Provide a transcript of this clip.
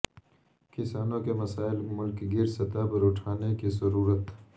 کسانوں کے مسائل ملک گیر سطح پر اٹھانے کی ضرورت